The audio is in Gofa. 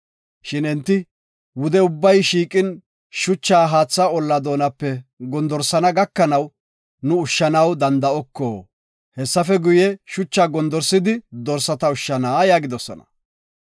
Shin enti, “Wude ubbay shiiqin shucha haatha olla doonape gondorsana gakanaw nu ushshanaw danda7oko. Hessafe guye, shucha gondorsidi dorsata ushshana” yaagidosona.